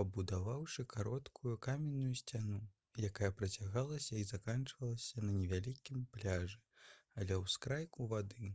пабудаваўшы кароткую каменную сцяну якая працягалася і заканчвалася на невялікім пляжы ля ўскрайку вады